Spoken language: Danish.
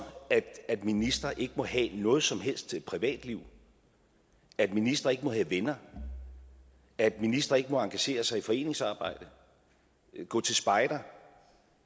at ministre ikke må have noget som helst privatliv at ministre ikke må have venner at ministre ikke må engagere sig i foreningsarbejde gå til spejder